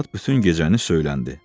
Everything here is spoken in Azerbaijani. Arvad bütün gecəni söyləndi.